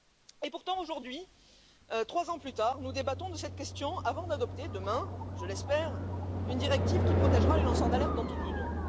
Et pourtant, aujourd'hui, trois ans plus tard, nous débattons de cette question avant d'adopter demain je l'espère une directive qui protégera les lanceurs d'alerte dans toute l'Union.